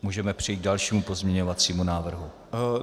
Můžeme přejít k dalšímu pozměňovacímu návrhu.